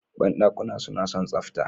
Banɗakuna suna son tsafta